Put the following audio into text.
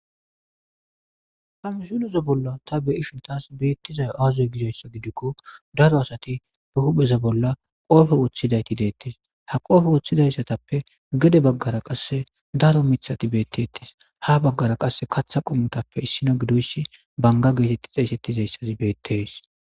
ha misilez bolla ta beishuntas beettizay aazoy gidoyssa gidikko daro asati be hupheza bolla qoofe woththidayti deettes ha qoofe woththidayssatappe gede baggara qasse daro mithati beettiettis ha baggara qasse katha qommutappe issino gidoyssi banga geetetti xeesettizeyssati beettees